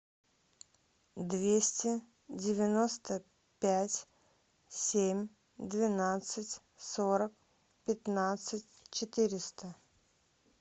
двести девяносто пять семь двенадцать сорок пятнадцать четыреста